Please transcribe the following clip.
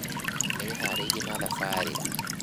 Nĩwĩharĩirie na thabarĩ